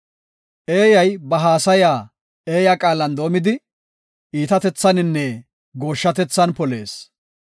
Eeyay ba haasaya eeya qaalan doomidi, iitatethaninne gooshshatethan polees.